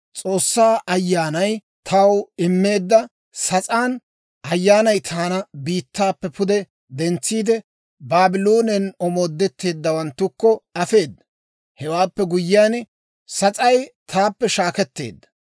S'oossaa Ayyaanay taw immeedda sas'aan Ayyaanay taana biittaappe pude dentsiide, Baabloonen omoodetteeddawanttukko afeeda. Hewaappe guyyiyaan, sas'ay taappe shaakketteedda.